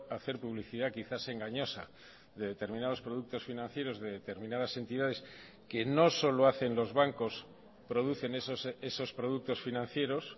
hacer publicidad quizás engañosa de determinados productos financieros de determinadas entidades que no solo hacen los bancos producen esos productos financieros